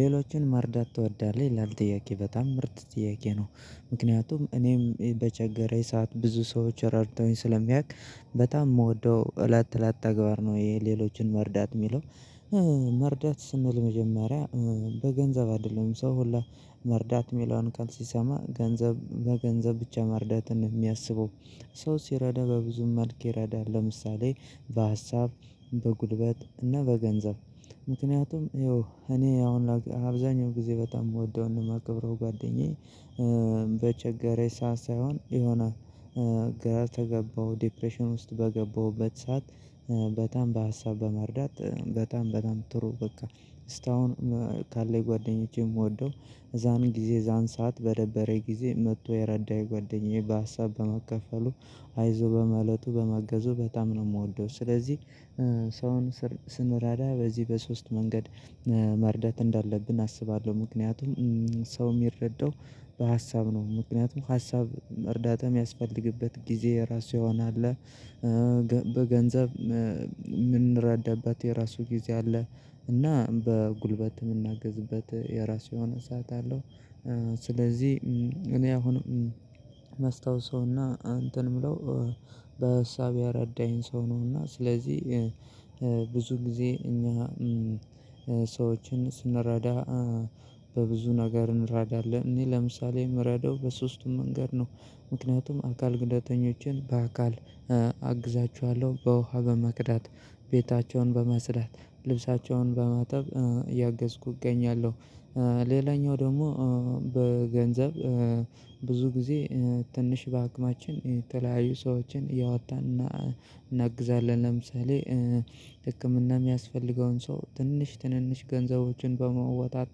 ሌሎችን መርዳት ትወዳለህ ይላል ጥያቄ በጣም ምርጥ ጥያቄ ነው? ምክንያቱም እኔም በቸገረኝ ሰዓት ብዙ ሰዎች ረድተውኝ ስለሚያውቅ በጣም የምወደው እለት እለት ተግባር ነው። ይሄ ሌሎችን መርዳት የሚለው መርዳት ስንል መጀመሪያ በገንዘብ አይደለም ሰው ሁላ መርዳት የሚለውን ቃል ሲሰማ ገንዘብ በገንዘብ ብቻ መርዳትን የሚያስበው ሰው ሲረዳ በብዙም መልክ ይረዳል። ለምሳሌ በሀሳብ በጉልበት እና በገንዘብ ምክንያቱም ይኸው እኔ አሁን አብዛኛው ጊዜ በጣም የምወደውን የማከብረው ጓደኛዬ በቸገረች ሰዓት ሳይሆን የሆነ ግራ ተገባው ዲፕሬሽን ውስጥ በገባሁበት ሰዓት በጣም በሀሳብ በመርዳት በጣም በጣም ጥሩ በቃ። እስታሁን ካለኝ ጓደኞቼ የምወደው እዛን ጊዜ እዛን ሰዓት በደበረኝ ጊዜ መጥቶ የረዳኝ ጓደኛዬ በሀሳብ በመከፈሉ አይዞ በማለቱ በማገዙ በጣም ነው። የምወደው ስለዚህ ሰውን ስንረዳ በዚህ በሶስት መንገድ መርዳት እንዳለብን አስባለሁ ምክንያቱም ሰው የሚረዳው በሀሳብ ነው ምክንያቱም ሀሳብ መርዳት የሚያስፈልግበት ጊዜ የራሱ ይሆናል አለ። በገንዘብ የምንረዳበት የራሱ ጊዜ አለ እና በጉልበት የምናግዝበት የራሱ የሆነ ሰዓት አለው። ስለዚህ እኔ አሁን ማስታውሰውና እንትን የምለው በሀሳብ ያረዳኝ ሰው ነውና ስለዚህ ብዙ ጊዜ እኛ ሰዎችን ስንረዳ በብዙ ነገር እንረዳለን እኔ ለምሳሌ የምረዳው በሶስቱም መንገድ ነው። ምክንያቱም አካል ጉዳተኞችን በአካል አግዛችኋለሁ በውሃ በመቅዳት ቤታቸውን በማጽዳት ልብሳቸውን በማጠብ እያገዝኩ እገኛለሁ። ሌላኛው ደሞ በገንዘብ ብዙ ጊዜ ትንሽ በአቅማችን የተለያዩ ሰዎችን እያወጣን እናግዛለን ለምሳሌ ህክምና የሚያስፈልገውን ሰው ትንሽ ትንንሽ ገንዘቦችን በማውጣት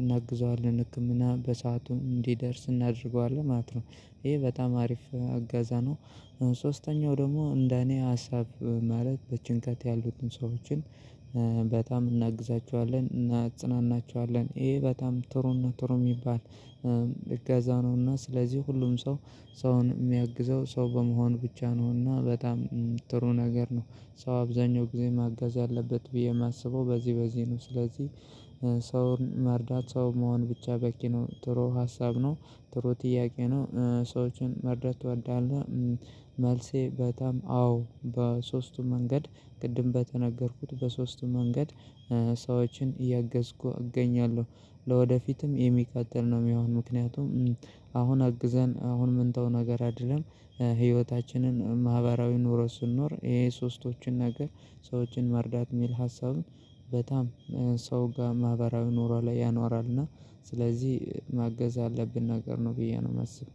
እናግዘዋለን ህክምና በሰአቱ እንዲደርስ እናደርገዋለን ማለት ነው። ይሄ በጣም አሪፍ እገዛ ነው። ሶስተኛው ደግሞ እንደ እኔ ሀሳብ ማለት በጭንቀት ያሉትን ሰዎችን በጣም እናግዛቸዋለን እናጽናናቸዋለን ይሄ በጣም ጥሩ ነው ጥሩ የሚባል እገዛ ነውና። ስለዚህ ሁሉም ሰው ሰውን የሚያግዘው ሰው በመሆን ብቻ ነውና በጣም ጥሩ ነገር ነው ሰው አብዛኛው ጊዜ ማገዝ አለበት ብዬ የማስበው በዚህ በዚህ ነው። ስለዚህ ሰውን መርዳት ሰው መሆን ብቻ በቂ ነው ጥሩ ሀሳብ ነው። ጥሩ ጥያቄ ነው። ሰዎችን መርዳት ትወዳለህ? መልሴ በጣም አዎ በሶስቱም መንገድ ቅድም በተነገርኩት በሶስቱ መንገድ ሰዎችን እያገዝኩ እገኛለሁ። ለወደፊትም የሚቀጥል ነው የሚሆን ምክንያቱም አሁን አግዘን አሁን ምንተው ነገር አይደለም። ህይወታችንን ማህበራዊ ኖሮ ስንኖር ይሄ ሶስቶችን ነገር ሰዎችን መርዳት የሚል ሀሳብን በጣም ሰው ጋር ማህበራዊ ኖሯ ላይ ያኖራልና። ስለዚህ ማገዝ ያለብን ነገር ነው ብዬ ነው የማስበው